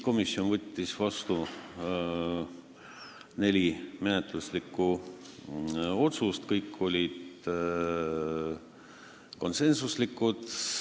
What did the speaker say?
Komisjon võttis vastu neli menetluslikku otsust, mis kõik olid konsensuslikud.